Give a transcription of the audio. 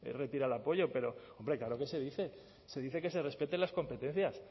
retira el apoyo pero hombre claro que se dice se dice que se respeten las competencias